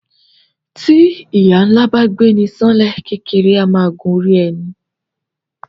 Tí ìyà ńlá bá gbéni san lẹ kékeré a máa gun orí ẹni